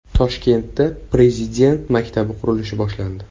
Toshkentda Prezident maktabi qurilishi boshlandi.